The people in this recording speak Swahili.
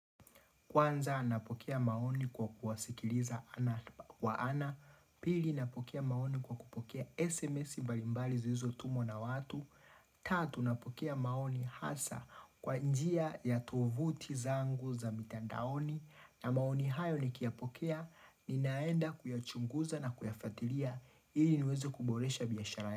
Kwanza nanapokea maoni kwa kuwasikiliza kwa ana Pili nanapokea maoni kwa kupokea SMS mbalimbali zilizotumwa na watu. Tatu napokea maoni hasa kwa njia ya tovuti zangu za mitandaoni. Na maoni hayo nikiya pokea ninaenda kuyachunguza na kuyafatiria ili niweze kuboresha biashara.